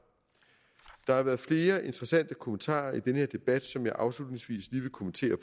der har været flere interessante kommentarer i den her debat som jeg afslutningsvis lige vil kommentere